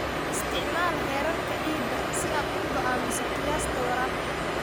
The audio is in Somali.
Isticmaal heerarka ciidda si aad u go'aamiso qiyaasta waraabka.